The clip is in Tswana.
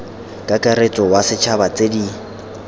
kakaretso wa ditšhaba tse di